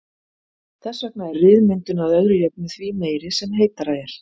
Þess vegna er ryðmyndun að öðru jöfnu því meiri sem heitara er.